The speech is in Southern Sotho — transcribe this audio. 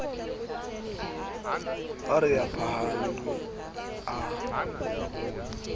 ha re a phahame a